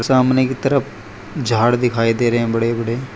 सामने के तरफ झाड़ दिखाई दे रहे हैं बड़े बड़े।